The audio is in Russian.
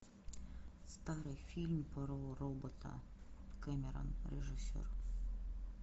старый фильм про робота кэмерон режиссер